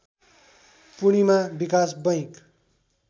Purnima Vikas bank